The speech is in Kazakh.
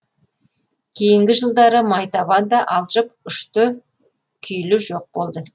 кейінгі жылдары майтабан да алжып ұшты күйлі жоқ болды